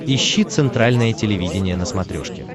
ищи центральное телевидение на смотрешке